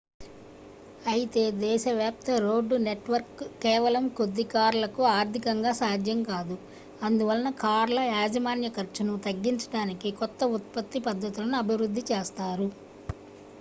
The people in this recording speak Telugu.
అయితే దేశవ్యాప్తరోడ్డు నెట్వర్క్ కేవలం కొద్ది కార్లకు ఆర్థికంగా సాధ్యం కాదు అందువలన కార్ల యాజమాన్య ఖర్చును తగ్గించడానికి కొత్త ఉత్పత్తి పద్ధతులను అభివృద్ధి చేస్తారు